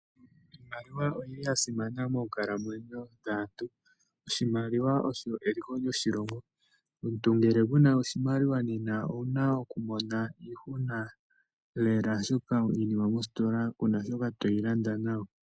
Iimaliwa oyili yasimana moonkalamwenyo dhaantu, oshimaliwa osho eliko lyoshilongo. Omuntu ngele kuna oshimaliwa nena owuna okumona iihuna lela oshoka iinima moositola kuna sho toyilanda nayo.